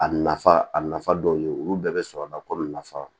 A nafa a nafa dɔw ye olu bɛɛ bɛ sɔrɔ ka ko nafa